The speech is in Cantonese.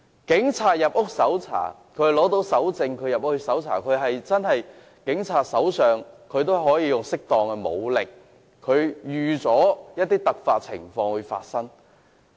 警察要獲得搜查令才能進入屋內搜查，他們可使用適當武力，亦預期會有突發情況發生。